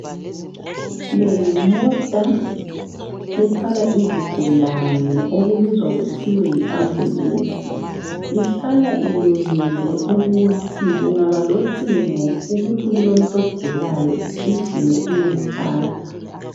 Le yimota ethwala izigulane okubizwa kuthiwe yi ambulensi, ihlala ilungele ukuthi kungaba locingo ukuthi kulomuntu ogulayo igijime iyemthatha.